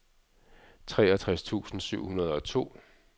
treogtres tusind syv hundrede og to